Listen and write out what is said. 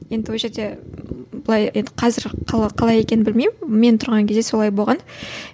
енді ол жерде былай енді қазір қалай екенін білмеймін мен тұрған кезде солай болған